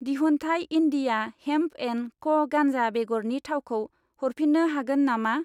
दिहुनथाइ India hemp and क' गान्जा बेगरनि थावखौ हरफिन्नो हागोन नामा?